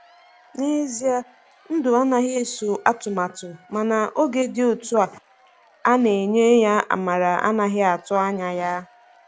Na ezia ndụ anaghị eso atụmatụ, mana oge dị otú a na-enye ya amara ana-atụghị anya ya.